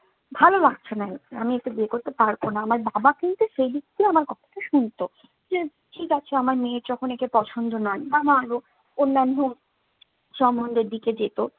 ভালো লাগছে না, আমি একে বিয়ে করতে পারবো না। আমার বাবা কিন্তু সেদিক থেকে আমার কথাটা শুনতো। যে ঠিক আছে আমার মেয়ের যখন একে পছন্দ নয় বা অন্যান্য সমন্ধের দিকে যেত